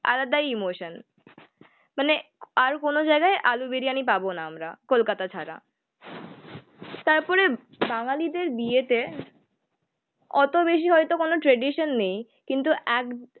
আলাদাই ইমোশন। মানে আর কোনো জায়গায় আলু বিরিয়ানি পাবোনা আমরা কোলকাতা ছাড়া। তারপরে বাঙালিদের বিয়েতে অতবেশি হয়তো কোনো ট্রেডিশন নেই কিন্তু একদ